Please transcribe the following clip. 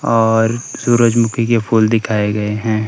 और सूरजमुखी के फूल दिखाए गए हैं।